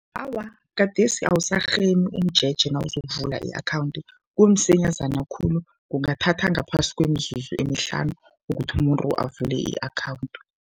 Awa, gadesi awusarhemi umjeje nawuzokuvula i-khawundi, kumsinyazana khulu, kungathatha ngaphasi kwemizuzu emihlanu ukuthi umuntu avule i-akhawundi.